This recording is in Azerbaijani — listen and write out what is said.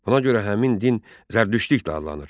Ona görə həmin din Zərdüştlik də adlanır.